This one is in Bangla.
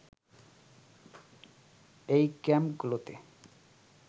এই ক্যাম্পগুলোতে